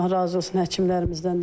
Allah razı olsun həkimlərimizdən də.